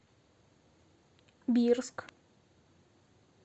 бирск